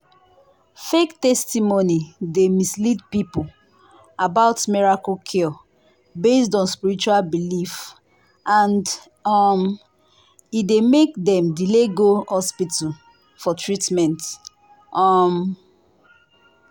fake testimony dey mislead people about miracle cure based on spiritual belief and um e dey make dem delay go hospital for treatment. um